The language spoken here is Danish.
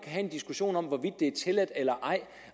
have en diskussion om hvorvidt det er tilladt eller ej